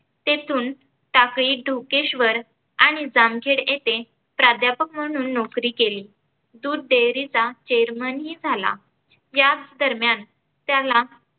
तेथून टाकळी धोकेश्वर आणि जामखेड येथे प्राध्यापक म्हणून नोकरी केली. दूध डेअरीचा chairman ही झाला. याच दरम्यान त्याला